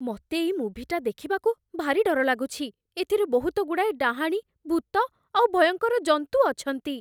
ମତେ ଏଇ ମୁଭିଟା ଦେଖିବାକୁ ଭାରି ଡର ଲାଗୁଛି । ଏଥିରେ ବହୁତଗୁଡ଼ାଏ ଡାହାଣୀ, ଭୂତ ଆଉ ଭୟଙ୍କର ଜନ୍ତୁ ଅଛନ୍ତି ।